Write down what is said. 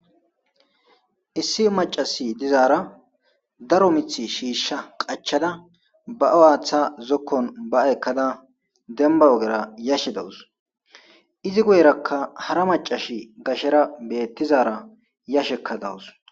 Issi maccassi dizaara mithi shiisha qachada ba7o aatha ba7ada dembba ogera yashe dawus izi guyerakka hara maccasi gashera beettishe dizaara yashe dawus.